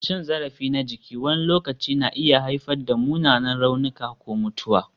Cin zarafi na jiki wani lokaci na iya haifar da munanan raunuka ko mutuwa.